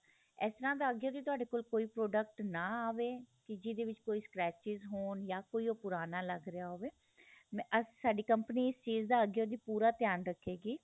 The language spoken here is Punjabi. ਏਸ ਤਰਾ ਦਾ ਅਗਿਓ ਤੋ ਤੁਹਾਡੇ ਕੋਲ ਕੋਈ product ਨਾ ਆਵੇ ਕਿ ਜਿਹਦੇ ਵਿੱਚ ਕੋਈ ਹੋਣ ਯਾ ਕੋਈ ਉਹ ਪੁਰਾਣਾ ਲੱਗ ਰਿਹਾ ਹੋਵੇ ਸਾਡੀ ਕੰਪਨੀ ਇਸ ਚੀਜ ਦਾ ਅਗਿਓ ਦੀ ਪੂਰਾ ਧਿਆਨ ਰੱਖ਼ੇ ਗਈ